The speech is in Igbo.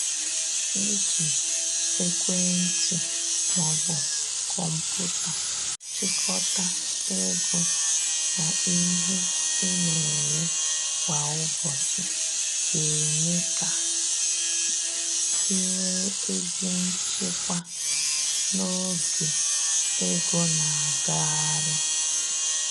Iji ekwentị ma ọ bụ kọmpụta chịkọta ego na ihe ị na-ere kwa ụbọchị ga eme ka i nwee ezi nchịkwa n’oge ego na agagharị